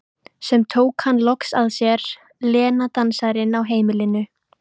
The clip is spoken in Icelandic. Sem tók hann loks að sér, Lena dansarinn á heimilinu.